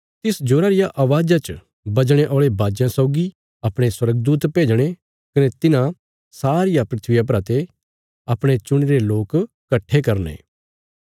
तिस जोरा रिया अवाज़ा च बजणे औल़े बाजयां सौगी अपणे स्वर्गदूत भेजणे कने तिन्हां सारिया धरतिया परा ते अपणे चुणीरे लोक कट्ठे करने